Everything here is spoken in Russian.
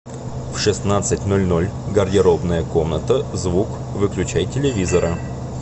в шестнадцать ноль ноль гардеробная комната звук выключай телевизора